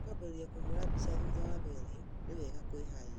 Nitũkwambĩrĩria nkũhũũra mbica thutha wa mĩario, nĩ wega kwĩharĩria